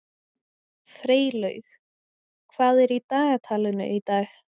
Freylaug, hvað er í dagatalinu í dag?